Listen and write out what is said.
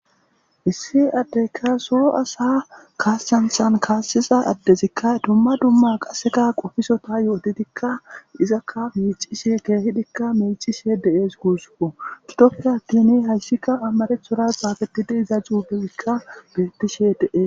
Issi adeyka so asa kasancha kaasiza adezika dumma dumma qopiso yotidika pizza c'ishe kehippe micishe de'es gusuko gidoppe attin haysika amarathora xafetidi dizz xufezika betishe De'es